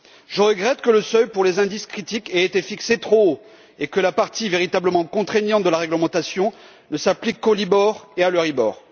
Je regrette que le seuil pour les indices critiques ait été fixé trop haut et que la partie véritablement contraignante de la réglementation ne s'applique qu'au Libor et à l'Euribor.